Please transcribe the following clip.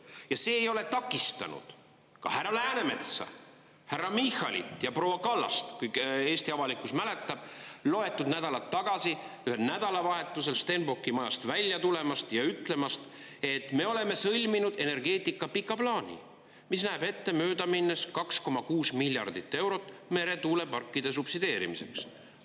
Ja see ei ole takistanud ka härra Läänemetsa, härra Michalit ja proua Kallast – Eesti avalikkus mäletab – loetud nädalad tagasi ühel nädalavahetusel Stenbocki majast välja tulemast ja ütlemast, et me oleme sõlminud energeetika pika plaani, mis näeb ette möödaminnes 2,6 miljardit eurot meretuuleparkide subsideerimiseks.